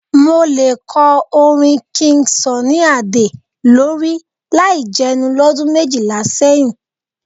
Mo lè kọ orin King Sunny Adé lórí láì jẹnu lọ́dún méjìlá sẹ́yìn.